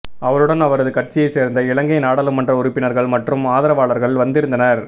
அவருடன் அவரது கட்சியை சேர்ந்த இலங்கை நாடாளுமன்ற உறுப்பினர்கள் மற்றும் ஆதரவாளர்கள் வந்திருந்தனர்